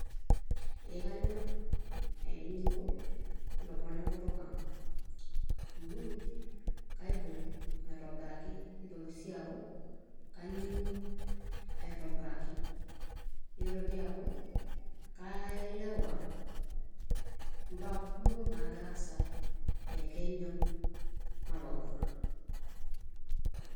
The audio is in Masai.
Ee kanyor ainining'o ilomon lenkutuk ang'. Amu kaibung' aitobiraki. Nitoki si aku, kaning'u aitobiraki. Nitoki aku, kaelewa imbaa kumok nagira aasa te Kenya nalulung'a.